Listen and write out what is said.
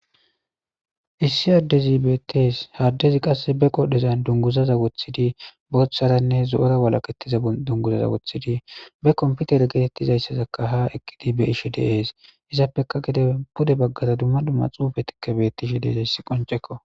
Issi addezi bettes haddezi qasse be qodhezan dunguzaza wothidi botharanne zo'ora walaketiza dunguzaza wothidi be komputer geetettizayssazakka ha eqidi be ishi deees izappeka gide pude baggaza dumma dumma xuufetikka bettishi deezayssi qoncekko.